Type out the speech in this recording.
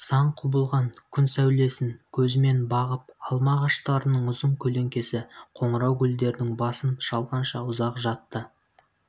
сан құбылған күн сәулесін көзімен бағып алма ағаштарының ұзын көлеңкесі қоңырау гүлдердің басын шалғанша ұзақ жатты